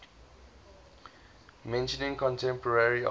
mentioning contemporary artists